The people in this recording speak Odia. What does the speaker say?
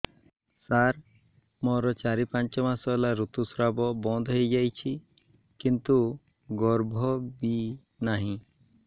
ସାର ମୋର ଚାରି ପାଞ୍ଚ ମାସ ହେଲା ଋତୁସ୍ରାବ ବନ୍ଦ ହେଇଯାଇଛି କିନ୍ତୁ ଗର୍ଭ ବି ନାହିଁ